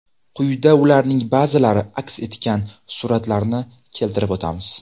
Quyida ularning ba’zilari aks etgan suratlarni keltirib o‘tamiz.